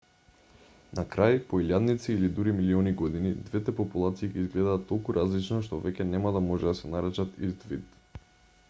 на крај по илјадници или дури милиони години двете популации ќе изгледаат толку различно што веќе нема да може да се наречат ист вид